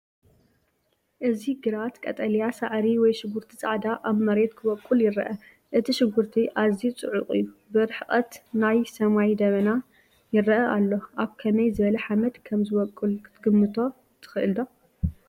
እዚ ግራት ቀጠልያ ሳዕሪ ወይ ሽጉርቲ ፃዕዳ ኣብ መሬት ክበቁል ይረአ። እቲ ሽጉርቲ ኣዝዩ ጽዑቕ እዩ፣ ብርሕቐት ናይ ሰማይ ደበና ይረአ ኣሎ። ኣብ ከመይ ዝበለ ሓመድ ከም ዚበቍል ክትግምቶ ትኽእል ዶ?